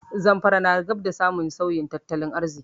Zamfara na gab da samun sauyin tattalin arziki.